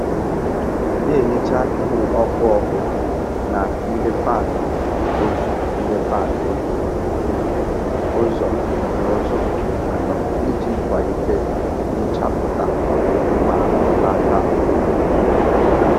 Na-ehicha ihe ọkụ ọkụ na ndị fan otu ndị fan otu um ụzọ n'ụzọ anọ iji kwalite nchapụta ma belata uzuzu.